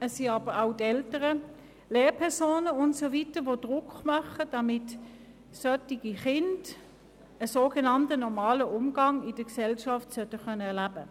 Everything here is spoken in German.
Es sind aber auch die Eltern, die Lehrpersonen und so weiter, die Druck ausüben, damit solche Kinder einen sogenannt «normalen» Umgang mit den anderen Mitgliedern der Gesellschaft pflegen können.